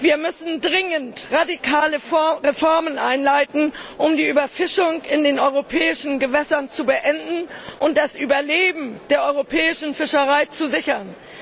Wir müssen dringend radikale Reformen einleiten, um die Überfischung in den europäischen Gewässern zu beenden und das Überleben der europäischen Fischerei zu sichern.